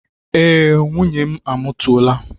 Ee, nwunye m amụtuola